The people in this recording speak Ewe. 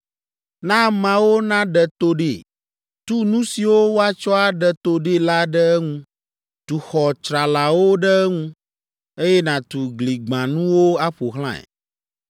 Na ameawo naɖe to ɖee; tu nu siwo woatsɔ aɖe to ɖee la ɖe eŋu. Tu xɔ tsralawo ɖe eŋu, eye nàtu gligbãnuwo aƒo xlãe.